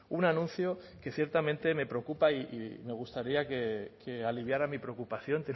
un anuncio que ciertamente me preocupa y me gustaría que aliviara mi preocupación